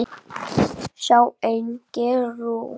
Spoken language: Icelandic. Sjá einnig: úrgang